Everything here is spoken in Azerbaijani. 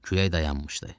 Külək dayanmışdı.